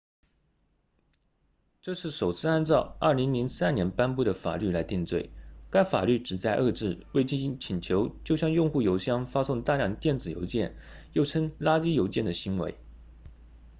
这是首次按照2003年颁布的法律来定罪该法律旨在遏制未经请求就向用户邮箱发送大量电子邮件又称垃圾邮件的行为